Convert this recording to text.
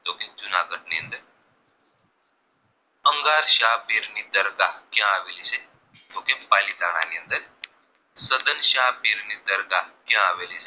અંગાર સાહપીર ની દરગાહ ક્યાં આવેલી છે તો કે પાલીતાણા ની અંદર સદરશા પીર ની દરગાહ ક્યાં આવેલી છે